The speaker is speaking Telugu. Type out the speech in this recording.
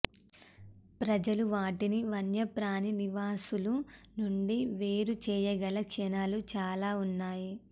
ప్రజలు వాటిని వన్యప్రాణి నివాసులు నుండి వేరు చేయగల క్షణాలు చాలా ఉన్నాయి